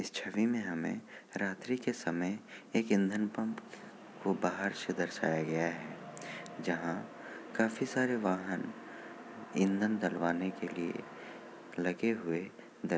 इस छबि में हमें रात्रि के समय एक इंधन पंप को बाहर से दर्शाया गया है। जहाँ काफी सारे वाहन ईंधन डलवाने के लिए लगे हुए--